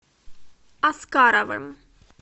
аскаровым